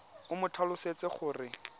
o mo tlhalosetse gore ke